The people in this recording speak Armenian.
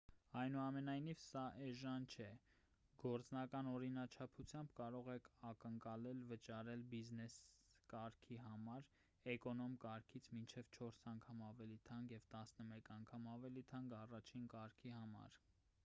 այնուամենայնիվ սա էժան չէ գործնական օրինաչափությամբ կարող եք ակնկալել վճարել բիզնես կարգի համար էկոնոմ կարգից մինչև չորս անգամ ավելի թանկ և տասնմեկ անգամ ավելի թանկ առաջին կարգի համար